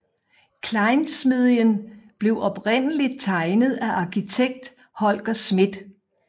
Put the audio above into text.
Klejnsmedien blev oprindeligt tegnet af arkitekt Holger Schmidt